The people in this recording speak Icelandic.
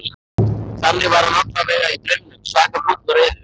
Þannig var hann allavega í draumnum, svaka fúll og reiður.